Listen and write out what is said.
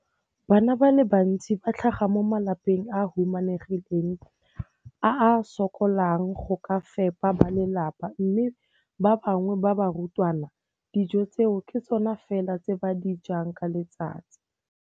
Bana ba le bantsi ba tlhaga mo malapeng a a humanegileng a a sokolang go ka fepa ba lelapa mme ba bangwe ba barutwana, dijo tseo ke tsona fela tse ba di jang ka letsatsi.